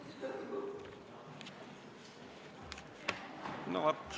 Istungi lõpp kell 13.58.